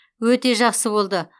өте жақсы болды